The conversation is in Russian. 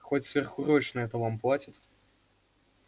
хоть сверхурочные-то вам платят